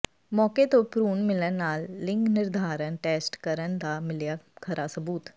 ਮੌਕੇ ਤੋਂ ਭਰੂਣ ਮਿਲਣ ਨਾਲ ਲਿੰਗ ਨਿਰਧਾਰਨ ਟੈਸਟ ਕਰਨ ਦਾ ਮਿਲਿਆ ਖਰਾ ਸਬੂਤ